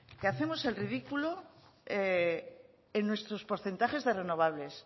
que hacemos el ridículo en nuestros porcentajes de renovables